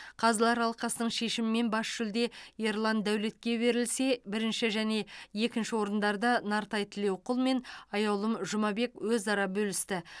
қазылар алқасының шешімімен бас жүлде ерлан дәулетке берілсе бірінші және екінші орындарды нартай тілеуқұл мен аяулым жұмабек өзара бөлісті